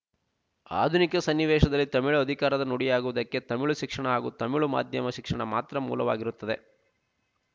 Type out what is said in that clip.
ಆಧುನಿಕ ಸನ್ನಿವೇಶದಲ್ಲಿ ತಮಿಳು ಅಧಿಕಾರದ ನುಡಿಯಾಗುವುದಕ್ಕೆ ತಮಿಳು ಶಿಕ್ಷಣ ಹಾಗೂ ತಮಿಳು ಮಾಧ್ಯಮಶಿಕ್ಷಣ ಮಾತ್ರ ಮೂಲವಾಗಿರುತ್ತವೆ